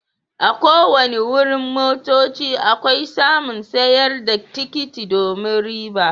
A' ko wanni wurin motocci akwai masun sayar da tikiti domin riba.